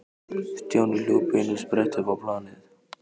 Stjáni hljóp í einum spretti upp á planið.